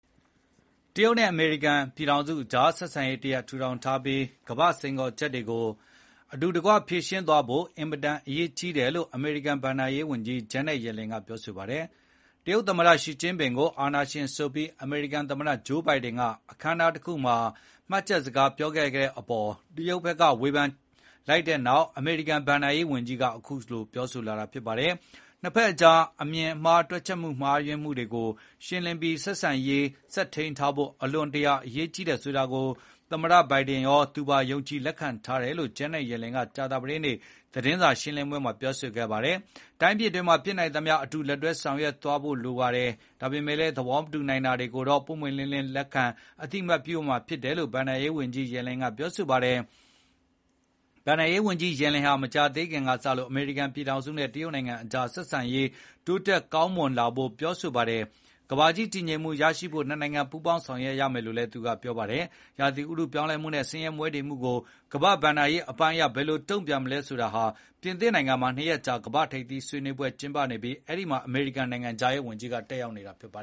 တရုတ်နဲ့ အမေရိကန်ပြည်ထောင်စုအကြား ဆက်ဆံရေးတရပ် ထူထောင်ထားပြီး ကမ္ဘာ့စိန်ခေါ်ချက်တွေကို အတူတကွ ဖြေရှင်းသွားဖို့ အင်မတန်အရေးကြီးတယ်လို့ အမေရိကန် ဘဏ္ဍာရေးဝန်ကြီး Janet Yellen က ပြောပါတယ်။ တရုတ်သမ္မတ Xi Jinping ကို အာဏာရှင်ဆိုပြီး အမေရိကန်သမ္မတ Joe Biden က အခမ်းအနားတခုမှာ မှတ်ချက်စကားပြောတဲ့အပေါ် တရုတ်ဖက်က ဝေဖန်ရှုတ်ချလိုက်တဲ့နောက် အမေရိကန် ဘဏ္ဍာရေးဝန်ကြီးက ခုလို ပြောလာတာပါ။ နှစ်ဖက်အကြား အမြင်မှား တွက်ချက်မှားမှုတွေကို ရှင်းလင်းပြီး ဆက်ဆံရေး ဆက်ထိန်းထားဖို့ အလွန်တရာအရေးကြီးတယ်ဆိုတာကို သမ္မတ Biden ရော သူပါ ယုံကြည်လက်ခံထားတယ်လို့ Janet Yellen က ကြာသပတေးနေ့ သတင်းစာရှင်းလင်းပွဲမှာ ပြောပါတယ်။ တိုင်းပြည်တွေမှာ ဖြစ်နိုင်သမျှ အတူလက်တွဲဆောင်ရွက်သွားဖို့လိုတယ်၊ ဒါပေမဲ့လည်း သဘောမတူနိုင်တာတွေကိုလည်း ပွင့်ပွင့်လင်းလင်း လက်ခံအသိအမှတ်ပြုရမှာ ဖြစ်တယ်လို့ ဘဏ္ဍာရေးဝန်ကြီး Yellen က ပြောပါတယ်။ ဘဏ္ဍာရေးဝန်ကြီး Yellen ဟာ မကြာသေးခင်စလို့ အမေရိကန်ပြည်ထောင်စုနဲ့ တရုတ်နိုင်ငံအကြား ဆက်ဆံရေး တိုးတက်ကောင်းမွန်လာဖို့ ပြောဆိုလာပါတယ်။ ကမ္ဘာကြီး တည်ငြိမ်မှုရဖို့ နှစ်နိုင်ငံပူးပေါင်းဆောင်ရွက်ရမယ်လို့ ပြောပါတယ်။ ဥတုရာသီပြောင်းလဲမှုနဲ့ ဆင်းရဲမွဲတေမှုတွေကို ကမ္ဘာ့ ဘဏ္ဍာရေးပိုင်းအရ ဘယ်လိုတုန့်ပြန်နိုင်မလဲဆိုတာ ပြင်သစ်နိုင်ငံမှာ နှစ်ရက်ကြာ ကမ္ဘာ့ထိပ်သီးဆွေးနွေးပွဲကျင်းပနေပြီး အဲဒီမှာ အမေရိကန် ဘဏ္ဍာရေးဝန်ကြီး တတ်ရောက်နေတာပါ